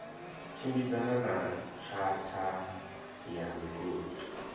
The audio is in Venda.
tshimbidzana na tshatha ya migodi